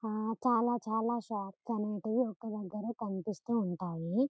అ చాలా చాలా షాప్స్ అనేటివి ఒక దగ్గర కనిపిస్తు వుంటాయి..